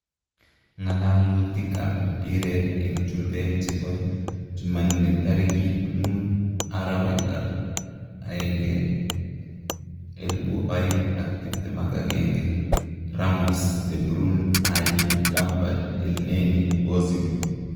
Nga'lalutik ab mpiret en chumbek chebo chumanne tarikit 05.01.2021: Ramos, De Bruyne, Alli, Lampard, Elneny, Ozil